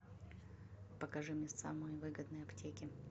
покажи мне самые выгодные аптеки